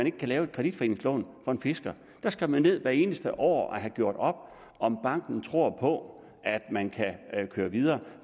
ikke kan laves et kreditforeningslån for en fisker der skal man ned hvert eneste år og have gjort op om banken tror på at man kan køre videre